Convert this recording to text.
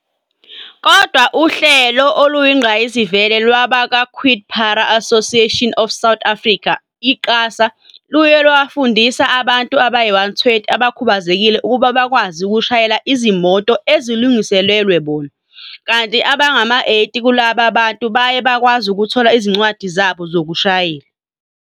Kodwa uhlelo oluyingqayizivele lwabakwa-QuadPara Association of South Africa, i-QASA, luye lwafundisa abantu abayi-120 abakhubazekile ukuba bakwazi ukushayela izimoto ezilungiselelwe bona, kanti abangama-80 kulaba bantu baye bakwazi ukuthola izincwadi zabo zokushayela.